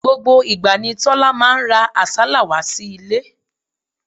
Gbogbo ìgbà ni Tọ́lá máa ń ra àsálà wá sí ilé.